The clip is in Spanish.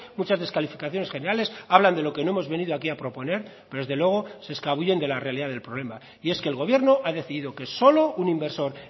muchas descalificaciones generales hablan de lo que no hemos venido aquí a proponer pero desde luego se escabullen de la realidad del problema y es que el gobierno ha decidido que solo un inversor